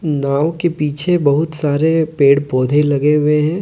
नाव के पीछे बहुत सारे पेड़ पौधे लगे हुए हैं।